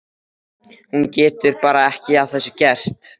Pabbi hennar er besti nemandi sem ég hef kennt.